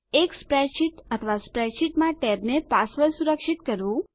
એક સ્પ્રેડશીટ અથવા સ્પ્રેડશીટમાં ટેબને પાસવર્ડ સુરક્ષિત કરવું